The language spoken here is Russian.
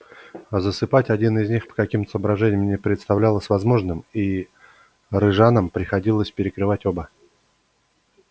засыпать один из них по каким-то соображениям не представлялось возможным и рижанам приходилось перекрывать оба